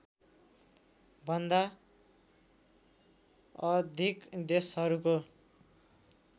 भन्दा अधिक देशहरूको